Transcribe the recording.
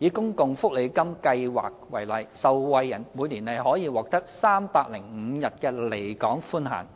以公共福利金計劃為例，受惠人每年可獲305天的離港寬限，